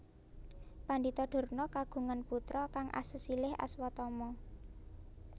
Pandhita Durna kagungan putra kang asesilih Aswatama